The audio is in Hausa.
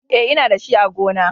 E, Ina da shi a gona.